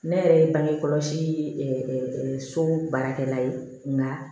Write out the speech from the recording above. Ne yɛrɛ ye bange kɔlɔsi so baarakɛla ye nka